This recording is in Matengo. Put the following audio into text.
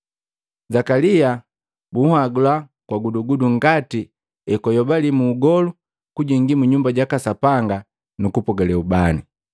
Zakalia bunhagula kwa gudugudu ngati ekwayobaliki muugolu kujingi mu Nyumba jaka Sapanga kupogale ubani.